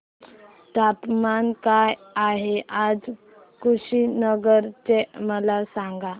तापमान काय आहे आज कुशीनगर चे मला सांगा